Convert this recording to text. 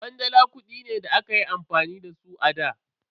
Kwandala kudi ne da akayi amfani da su a da.